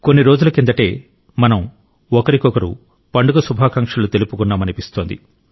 కొన్ని రోజుల కిందటే మనం ఒకరికొకరు పండుగ శుభాకాంక్షలు తెలుపుకున్నామనిపిస్తోంది